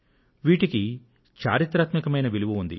వీటికి చారిత్రాత్మకమైన విలువ ఉంది